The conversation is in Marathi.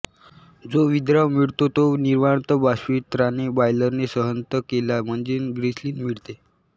जो विद्राव मिळतो तो निर्वात बाष्पित्राने बॉयलरने संहत केला म्हणजे ग्लिसरीन मिळते